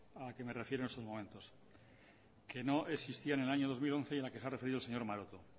a la que me refiero en estos momentos que no existían en el año dos mil once y en la que se ha referido el señor maroto